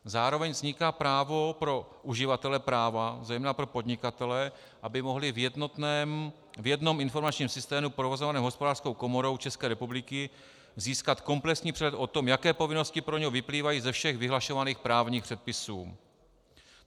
Zároveň vzniká právo pro uživatele práva, zejména pro podnikatele, aby mohli v jednom informačním systému provozovaném Hospodářskou komorou České republiky získat komplexní přehled o tom, jaké povinnosti pro něj vyplývají ze všech vyhlašovaných právních předpisů.